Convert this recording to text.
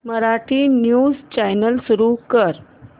Marathi news channel सुरू कर